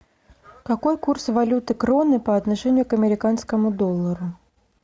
какой курс валюты кроны по отношению к американскому доллару